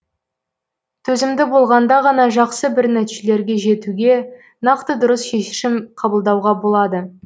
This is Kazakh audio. төзімді болғанда ғана жақсы бір нәтижелерге жетуге нақты дұрыс шешем қабылдауға болады